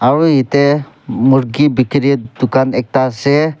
Aro yate murky bekerit tugan ekta ase.